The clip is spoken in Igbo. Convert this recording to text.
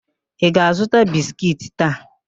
Ọ ga-azụta biskiiti taa?